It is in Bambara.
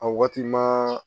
A waati ma